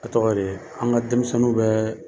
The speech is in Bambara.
A tɔgɔ de ye an ka denmisɛnninw bɛɛ